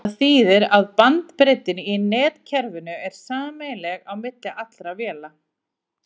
Það þýðir að bandbreiddin í netkerfinu er sameiginleg á milli allra véla.